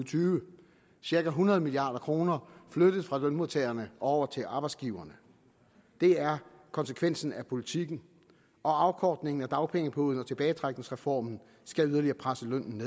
tyve cirka hundrede milliard kroner flyttes fra lønmodtagerne over til arbejdsgiverne det er konsekvensen af politikken og afkortningen af dagpengeperioden og tilbagetrækningsreformen skal yderligere presse lønnen